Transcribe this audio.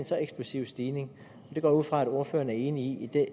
så eksplosiv stigning det går jeg ud fra at ordføreren er enig i